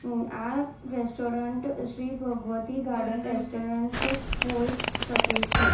આ restaurant Shri Bhagwati garden restaurant હોયજ શકે છે.